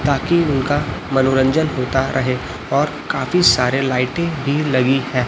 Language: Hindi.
ताकि उनका मनोरंजन होता रहे और काफी सारे लाइटिंग भी लगी हैं।